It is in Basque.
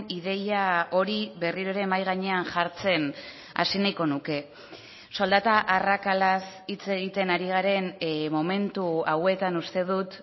ideia hori berriro ere mahai gainean jartzen hasi nahiko nuke soldata arrakalaz hitz egiten ari garen momentu hauetan uste dut